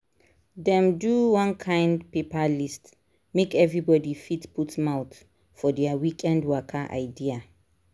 dem do one kind paper list make everybody fit put mouth for their weekend waka idea.